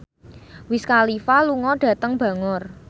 Wiz Khalifa lunga dhateng Bangor